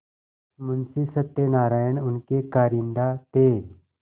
मुंशी सत्यनारायण उनके कारिंदा थे